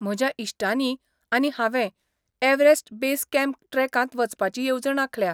म्हज्या इश्टांनीं आनी हांवें एव्हरेस्ट बेस कॅम्प ट्रॅकांत वचपाची येवजण आंखल्या.